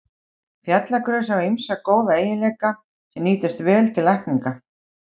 Fjallagrös hafa ýmsa góða eiginleika, sem nýtast vel til lækninga.